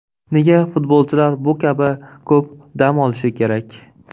Nega futbolchilar bu kabi ko‘p dam olishi kerak?